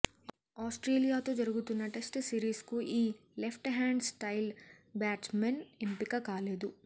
ఆస్ట్రేలియాతో జరుగుతున్న టెస్ట్ సిరీస్కు ఈ లెఫ్ట్ హ్యాండ్ స్టైలిష్ బ్యాట్స్మన్ ఎంపిక కాలేదు